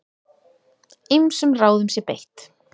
Ýmsum ráðum sé beitt.